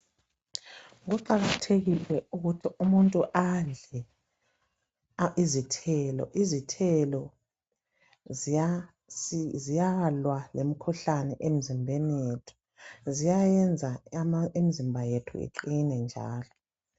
Kuqakathekile ukuthi umuntu adle izithelo, izithelo ziyalwa lemikhuhlane emzimbeni yethu, ziyayenza imizimba yethu iqine njalo.